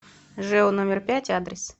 жэу номер пять адрес